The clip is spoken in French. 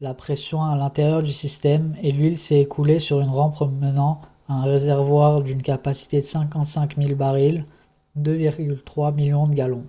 la pression à l'intérieur du système et l'huile s'est écoulée sur une rampe menant à un réservoir d'une capacité de 55 000 barils 2,3 millions de gallons